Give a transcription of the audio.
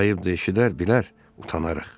Ayıbdır, eşidər, bilər, utanarıq.